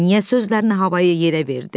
Niyə sözlərini havayı yerə verdi?